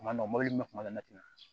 Kuma dɔ mobili kuma dɔ la ne ti na